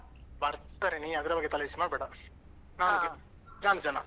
ಬರ್ತಾರೆ ನೀನ್ ಅದ್ರ ಬಗ್ಗೆ ತಲೆಬಿಸಿ ಮಾಡ್ಬೇಡ.